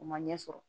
U ma ɲɛ sɔrɔ